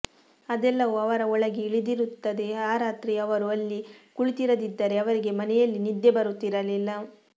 ಅದೆಲ್ಲವೂ ಅವರ ಒಳಗೆ ಇಳಿದಿರುತ್ತದೆ ಆ ರಾತ್ರಿ ಅವರು ಅಲ್ಲಿ ಕುಳಿತಿರದಿದ್ದರೆ ಅವರಿಗೆ ಮನೆಯಲ್ಲಿ ನಿದ್ದೆ ಬರುತ್ತಿರಲಿಲ್ಲ